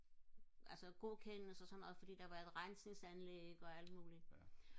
altså godkendes og sådan noget fordi der var et rensningsanlæg og alt muligt